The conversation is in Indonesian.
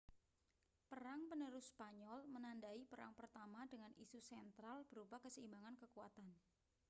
perang penerus spanyol menandai perang pertama dengan isu sentral berupa keseimbangan kekuatan